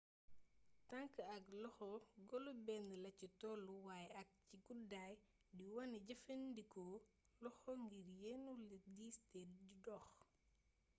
tank ak loxo golo bénn laci tollu waay ak ci gudday di wané jeefeendiko loxo ngir yénu lu diis té di dox